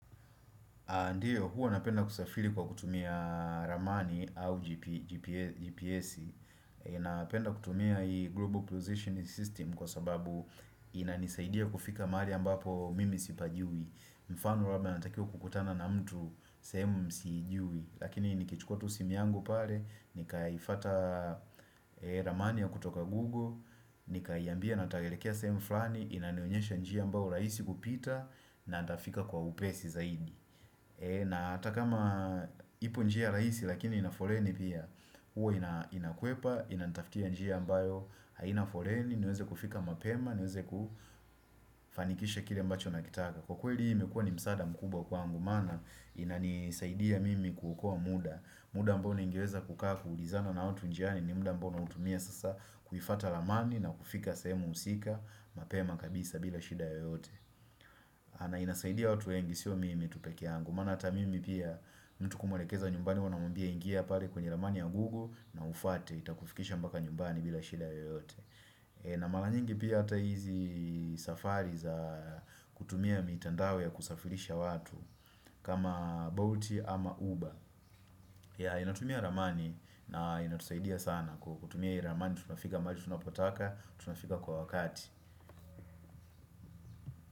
Ndiyo, huwa napenda kusafiri kwa kutumia ramani au GPS. Napenda kutumia global positioning system kwa sababu inanisaidia kufika mahali ambapo mimi sipajui. Mfano kama natakiwa kukutana na mtu, sehemu mimi sijui Lakini nikichukua tu simu yangu pale, nikaifuata ramani ya kutoka Google, nikiiambia nataka kuelekea sehemu fulani, inanionyesha njia ambayo rahisi kupita na nitafika kwa upesi zaidi. Na hata kama ipo njia rahisi lakini ina foleni pia huwa inakwepa, inanitafutia njia ambayo haina foleni niweze kufika mapema, niweze kufanikisha kile ambacho ninakitaka. Kwa kweli hii imekua ni msaada mkubwa kwangu, maana inanisaidia mimi kuokoa muda, muda ambao ningeweza kukaa kuulizana na watu njiani ni muda ambao nautumia sasa kuifuata ramani na kufika sehemu husika mapema kabisa bila shida yoyote maana inasaidia watu wengi sio mimi tu peke yangu, maana hata mimi pia, mtu kumwelekeza nyumbani, huwa namwambia ingia pale kwenye ramani ya google na huifuate itakufikisha mpaka nyumbani bila shida yoyote. Na mara nyingi pia hata hizi safari za kutumia mitandao ya kusafirisha watu kama bolt ama uber. Yeah, inatumia ramani na inatusaidia sana kutumia hii ramani tunafika mbali tunapotaka, tunafika kwa wakati.